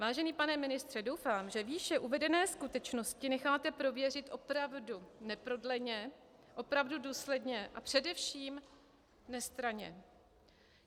Vážený pane ministře, doufám, že výše uvedené skutečnosti necháte prověřit opravdu neprodleně, opravdu důsledně a především nestranně.